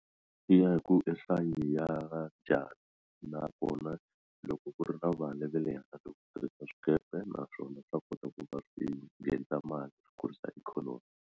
Swi ya hi ku i nhlayo ya njhani nakona loko ku ri na vale ve le handle ko tirhisa swikepe naswona swa kota ku va swi nghenisa mali swi kurisa ikhonomi.